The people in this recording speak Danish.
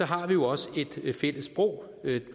har vi jo også et fælles sprog